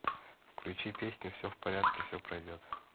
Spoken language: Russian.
включи песню все в порядке все пройдет